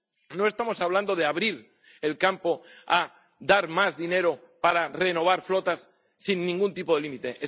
No estamos hablando de abrir el campo a dar más dinero para renovar flotas sin ningún tipo de límite.